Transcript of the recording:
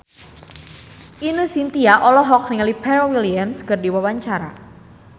Ine Shintya olohok ningali Pharrell Williams keur diwawancara